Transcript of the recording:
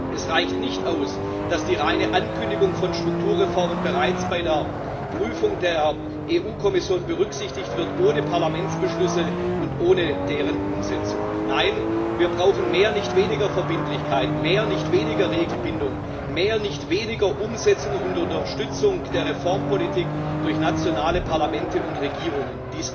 Es reicht nicht aus, dass die reine Ankündigung von Strukturreformen bereits bei der Prüfung der EU Kommission ohne Parlamentsbeschlüsse und ohne deren Umsetzung berücksichtigt wird. Nein, wir brauchen mehr, nicht weniger Verbindlichkeit, mehr, nicht weniger Regelbindung, mehr, nicht weniger Umsetzung und Unterstützung der Reformpolitik durch nationale Parlamente und Regierungen.